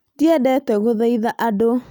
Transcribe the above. Ndiendete gũthaitha andũ